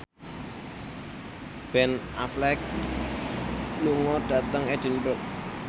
Ben Affleck lunga dhateng Edinburgh